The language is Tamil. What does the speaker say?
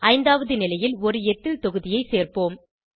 ஐந்தாவது நிலையில் ஒரு எத்தில் தொகுதியை சேர்ப்போம்